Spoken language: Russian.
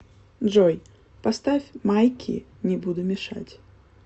джой поставь майки не буду мешать